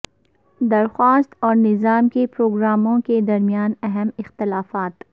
درخواست اور نظام کے پروگراموں کے درمیان اہم اختلافات